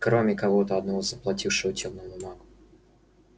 кроме кого-то одного заплатившего тёмному магу